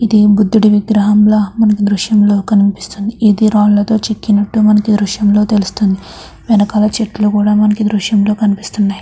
ఇది బుధుడి విగ్రహంల మనకి ఈ దృశ్యంలో కనిపిస్తుంది ఇది రాయి మీద చెక్కినట్టు మనకి ఈ దృశ్యంలో తెలుస్తుంది వెనకాల చెట్లు కూడా మనకి ఈ ఈ దృశ్యంలో కనిపిస్తున్నాయి.